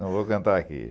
Não vou cantar aqui.